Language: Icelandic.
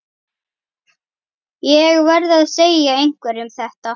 Ég verð að segja einhverjum þetta.